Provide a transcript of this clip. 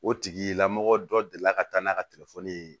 O tigilamɔgɔ dɔ delila ka taa n'a ka telefɔni ye